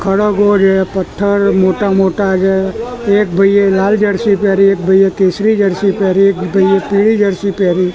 ખડગવો જે પથ્થર મોટા મોટા જે એક ભઈએ લાલ જર્સી પેહરી એક ભઈએ કેસરી જર્સી પેહરી એક ભઈએ પીળી જર્સી પેહરી--